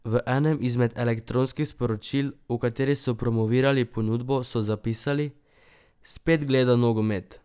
V enem izmed elektronskih sporočil, v kateri so promovirali ponudbo, so zapisali: "Spet gleda nogomet.